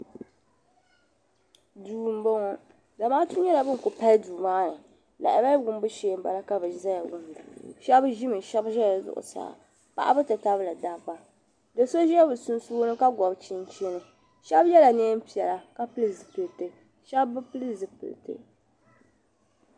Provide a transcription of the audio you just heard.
Duu m bo ŋɔ zamaatu nyela bin kuli palli duu maa ni lahabali wumbu shee m bala ka bɛ ʒiya wumda shɛb ʒimi shɛb ʒela zuɣu saa paɣaba ti tabili dabba do so biɛ bɛ sunsuuni ka gɔbi chinchini shɛb yela nɛɛn piɛla ka pili zipiliti shɛb bi pili zipiliti.